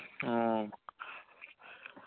ങ്ഹാ